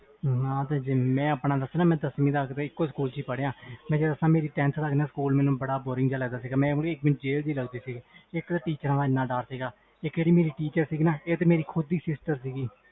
ਮੈਂ ਆਪਣਾ ਦਸਾ ਮੈਂ ਦਸਵੀ ਤਕ ਏਕੋ ਸਕੂਲ ਪੜਿਆ ਮੈਨੂੰ tenth ਤਕ ਸਕੂਲ ਬਹੁਤ boring ਲੱਗਦਾ ਸੀ teachers ਤੋਂ ਵੀ ਡਰ ਲਗਦਾ ਸੀ ਇਕ ਤੇ ਮੇਰੀ ਖੁਦ ਦੀ sister teacher ਸੀ